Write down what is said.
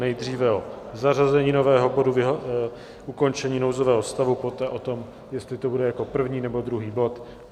Nejdříve o zařazení nového bodu Ukončení nouzového stavu, poté o tom, jestli to bude jako první, nebo druhý bod.